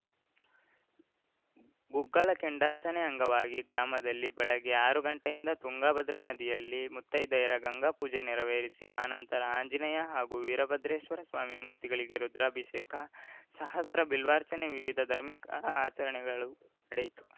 ಗುಗ್ಗಳ ಕೆಂಡಾರ್ಚನೆ ಅಂಗವಾಗಿ ಗ್ರಾಮದಲ್ಲಿ ಬೆಳಗ್ಗೆ ಆರು ಗಂಟೆಯಿಂದ ತುಂಗಾಭದ್ರ ನದಿಯಲ್ಲಿ ಮುತ್ತೈದೆಯರ ಗಂಗಾಪೂಜೆ ನೆರವೇರಿಸಿ ಆ ನಂತರ ಆಂಜನೇಯ ಹಾಗೂ ವೀರಭದ್ರೇಶ್ವರಸ್ವಾಮಿ ಮೂರ್ತಿಗಳಿಗೆ ರುದ್ರಾಭಿಷೇಕ ಸಹಸ್ರ ಬಿಲ್ವಾರ್ಚನೆ ವಿವಿಧ ಧರ್ಮಿಕ ಆಚರಣೆಗಳು ನಡೆಯಿತು